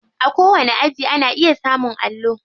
A kowanni aji ana iya samun allo.